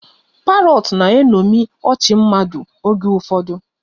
Parrots na-eṅomi ọchị mmadụ oge ụfọdụ.